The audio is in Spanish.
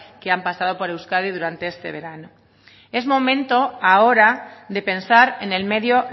que han pasado por euskadi durante este verano es momento ahora de pensar en el medio